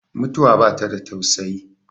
mutuwa ba ta da tausayi